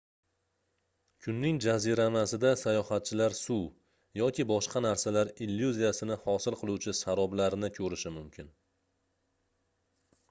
kunning jaziramasida sayohatchilar suv yoki boshqa narsalar illyuziyasini hosil qiluvchi saroblarni ko'rishi mumkin